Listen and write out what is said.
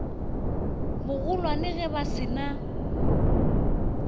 bogolwane ge ba se na